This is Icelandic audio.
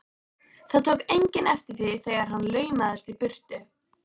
Það tók enginn eftir því þegar hann laumaðist í burtu.